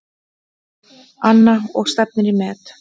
Anna: Og stefnir í met?